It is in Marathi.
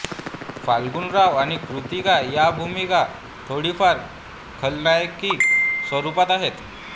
फाल्गुनराव आणि कृत्तिका या भूमिका थोडीफार खलनायकी स्वरूपाच्या आहेत